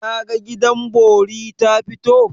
Daga gidan bori ta fito?